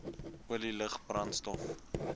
olie lug brandstof